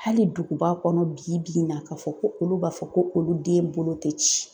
Hali duguba kɔnɔ bi bi in na ka fɔ ko olu b'a fɔ ko olu den bolo tɛ ci.